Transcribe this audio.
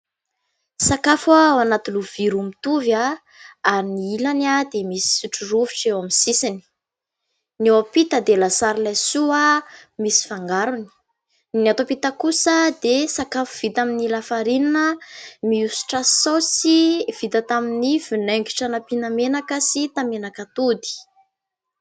Sakafo ao anaty lovia roa mitovy : amin'ny ilany dia misy sotro rovitra eo amin'ny sisiny, ny eo ampita dia lasary laisoa misy fangarony, ny ato ampita kosa dia sakafo vita amin'ny lafarinina mihosotra saosy vita tamin'ny vinaingitra nampiana menaka sy tamenak'atody.